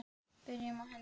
Byrjum á henni.